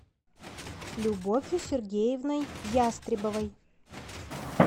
любовью сергеевной ястребовой